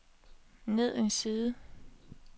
ned en side